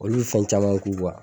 Olu bɛ fɛn caman ku